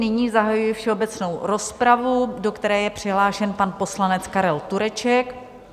Nyní zahajuji všeobecnou rozpravu, do které je přihlášen pan poslanec Karel Tureček.